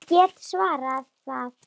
Ég get svarið það.